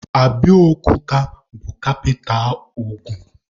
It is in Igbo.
Abiokuta bụ kapita Ogun.